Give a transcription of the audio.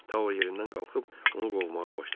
Tao yerindən qalıb onu qovmağa başladı.